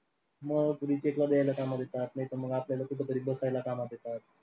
मग recheck ला द्यायला कामाला येतात नाहीतर मग आपल्याला कुठंतरी कामात येतात.